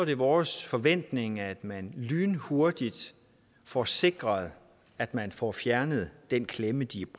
det vores forventning at man lynhurtigt får sikret at man får fjernet den klemme de